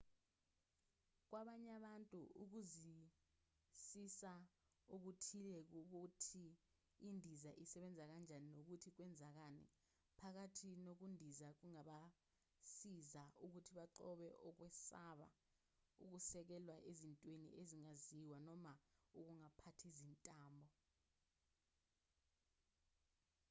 kwabanye abantu ukuzwisisa okuthile kokuthi indiza isebenza kanjani nokuthi kwenzekani phakathi nokundiza kungabasiza ukuthi banqobe ukwesaba okusekelwe ezintweni ezingaziwa noma ukungaphathi izintambo